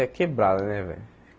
É quebrada, né, velho?